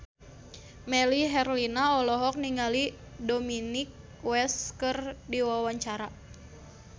Melly Herlina olohok ningali Dominic West keur diwawancara